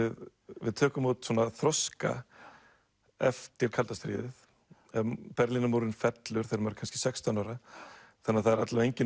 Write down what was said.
við tökum út þroska eftir kalda stríðið Berlínarmúrinn fellur þegar maður er kannski sextán ára þannig að það er alla vega engin